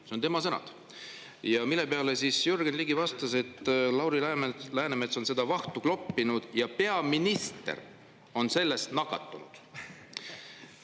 Need on tema sõnad, mille peale siis Jürgen Ligi vastas, et Lauri Läänemets on seda vahtu kloppinud ja peaminister on sellest nakatunud.